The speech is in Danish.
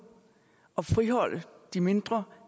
og man friholder de mindre